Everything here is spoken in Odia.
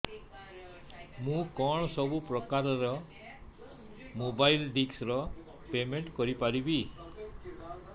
ମୁ କଣ ସବୁ ପ୍ରକାର ର ମୋବାଇଲ୍ ଡିସ୍ ର ପେମେଣ୍ଟ କରି ପାରିବି